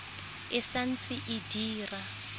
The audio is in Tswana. e sa ntse e dira